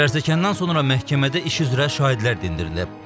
Zərərçəkəndən sonra məhkəmədə iş üzrə şahidlər dindirilib.